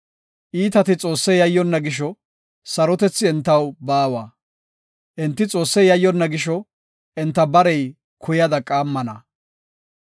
Iitati Xoosse yayyonna gisho sarotethi entaw baawa; enti Xoosse yayyonna gisho enta barey kuyada qaammana.